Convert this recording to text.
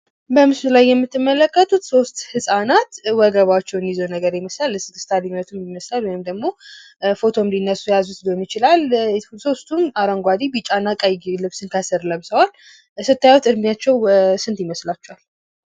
በምስሉ ላይ የምትመለከቱት ሶስት ህጻናት ወገባቸውን ይዘው ነገር ይመስላል። እስክስታም ሊመቱ ይመስላል ወይም ደግሞ ፎቶ ሊነሱም የያዙት ሊሆን ይችላል። ሶስቱም አረንጓዴ፥ ቢጫ፥ እና ቀይ ከስር ልብስ ለብሰዋል ሲታዩ እድሜያቸው ስንት ይመስላችኋል?